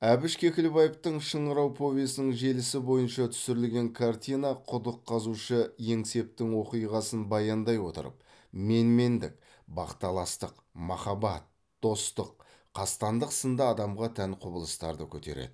әбіш кекілбаевтың шыңырау повесінің желісі бойынша түсірілген картина құдық қазушы еңсептің оқиғасын баяндай отырып менмендік бақталастық махаббат достық қастандық сынды адамға тән құбылыстарды көтереді